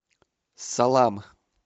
салам